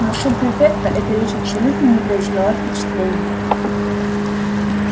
на суб-префекта эта речь абсолютно не произвела впечатления